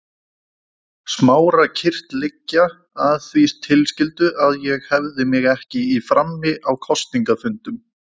Smára kyrrt liggja, að því tilskildu að ég hefði mig ekki í frammi á kosningafundum.